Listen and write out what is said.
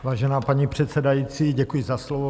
Vážená paní předsedající, děkuji za slovo.